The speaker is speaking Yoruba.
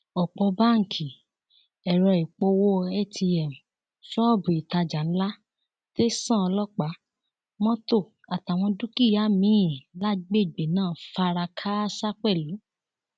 ọpọ báńkì ẹrọ ìpowó atm ṣọọbù ìtajà ńlá tẹsán ọlọpàá mọtò àtàwọn dúkìá miín lágbègbè náà fara kááṣá pẹlú